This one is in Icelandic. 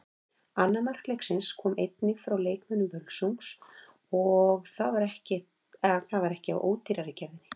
Annað mark leiksins kom einnig frá leikmönnum Völsungs og það var ekki af ódýrari gerðinni.